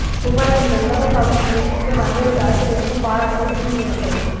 துபாயில் இந்த உலக சாதனை முயற்சிக்கு பல்வேறு தரப்பிலிருந்தும் பாராட்டுக்கள் குவிந்து வருகிறது